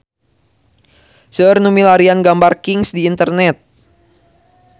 Seueur nu milarian gambar Kings di internet